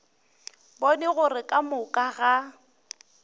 bone gore ka moka ga